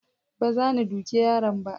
baza ni duke yaron ba